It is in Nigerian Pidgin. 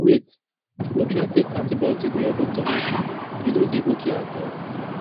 wait no try take antibiotic wey your doctor no give you e no dey okay at all